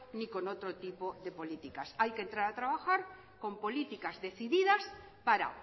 ni con otro tipo de políticas hay que entrar a trabajar con políticas decididas para